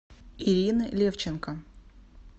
ирины левченко